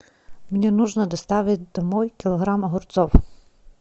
мне нужно доставить домой килограмм огурцов